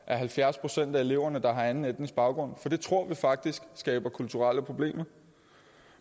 halvfjerds procent af eleverne der har anden etnisk baggrund for det tror vi faktisk skaber kulturelle problemer